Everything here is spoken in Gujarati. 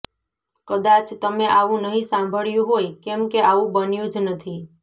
કદાચ તમે આવું નહિ સાંભળ્યું હોય કેમકે આવું બન્યું જ નથી